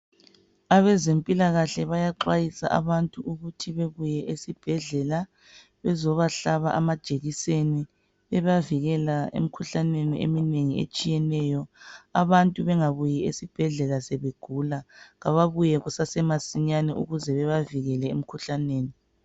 Abezempilakahle bayaxwayisa abantu ukuthi bebuye esibhedlela bezobahlaba amajekiseni bebavikela emkhuhlaneni eminengi etshiyeneyo. Abantu bengabuyi esibhedlela sebegula, ababuye kusemasinyane ukuze bebavikele emkhuhlaneni.